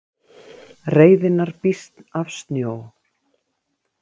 Reiðinnar býsn af snjó